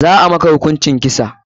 Za a maka hukuncin kisa.